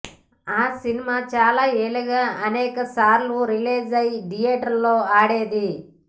ఆ సినిమా చాలా ఏళ్లగా అనేకసార్లు రిలీజై థియేటర్లలో ఆడేది